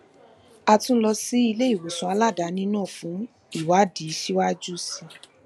a tún lọ sí iléìwòsàn aladaani náà fún ìwádìí síwájú sí i